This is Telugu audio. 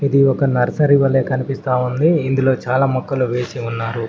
ఇది ఒక నర్సరీ వల్లే కనిపిస్తా ఉంది ఇందులో చాలా మొక్కలు వేసి ఉన్నారు.